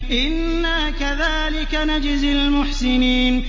إِنَّا كَذَٰلِكَ نَجْزِي الْمُحْسِنِينَ